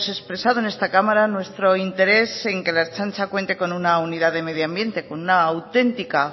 expresado en esta cámara nuestro interés en que la ertzaintza cuente con una unidad de medioambiente con una autentica